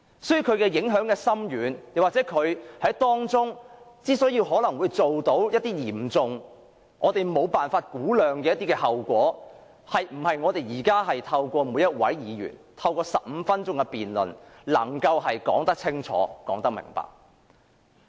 所以，其影響深遠，當中可能會導致一些我們無法估量的嚴重後果，並非我們現在透過每一位議員發言15分鐘的辯論，便能夠說得清楚明白。